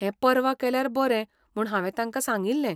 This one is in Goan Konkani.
हें परवां केल्यार बरें म्हूण हांवें तांका सांगिल्लें.